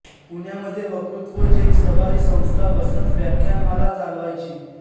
पुण्यामध्ये वक्तृत्वोजेक सभा ही संस्था वसंत व्याख्यानमाला चालवायची